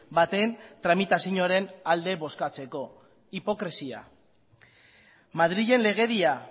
baten tramitazioaren alde bozkatzeko hipokresia madrilen legedia